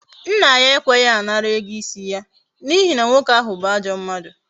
Nna ya ekweghi anara ego isi ya n'ihi na nwoke ahu bu ajo mmadu